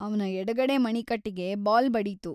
ಅವ್ನ ಎಡಗಡೆ ಮಣಿಕಟ್ಟಿಗೆ ಬಾಲ್‌ ಬಡೀತು.